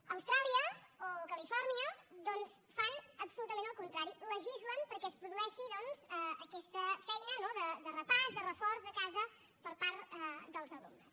a austràlia o califòrnia doncs fan absolutament el contrari legislen perquè es produeixi aquesta feina no de repàs de reforç a casa per part dels alumnes